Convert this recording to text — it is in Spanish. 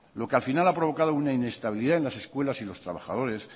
lo que al final ha provocado una inestabilidad en las escuelas y en los trabajadores